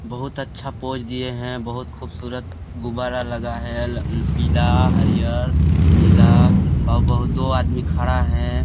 बहुत अच्छा पोज़ दिए है बहुत खूब सूरत गुब्बारा लगा है पीला हरियर नीला और ब_ दो आदमी खड़ा है।